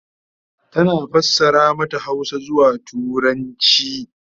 tana fassara mata Hausa zuwa turanci